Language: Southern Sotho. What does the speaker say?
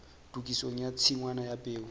tokisong ya tshingwana ya peo